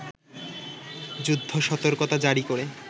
যুদ্ধ-সতর্কতা জারী করে